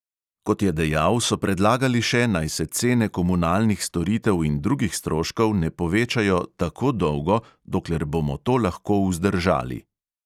Kot je dejal, so predlagali še, naj se cene komunalnih storitev in drugih stroškov ne povečajo "tako dolgo, dokler bomo to lahko vzdržali".